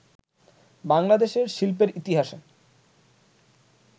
বাংলাদেশের শিল্পের ইতিহাসে